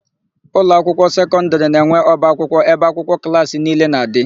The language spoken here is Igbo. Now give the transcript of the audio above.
Ụlọakwụkwọ sekọndịrị na-enwe ọbaakwụkwọ ebe akwụkwọ klaasị niile na-adị.